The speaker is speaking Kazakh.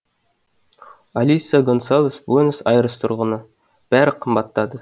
алиса гонсалес буэнос айрес тұрғыны бәрі қымбаттады